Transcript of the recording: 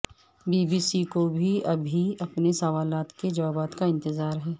be B C کو ابھی بھی اپنے سوالات کے جواب کا انتظار ہے